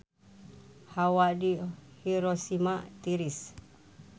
Hawa di Hiroshima tiris